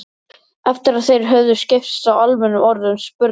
Einsog gefur að skilja sagðist hún ekkert vita í fyrstu.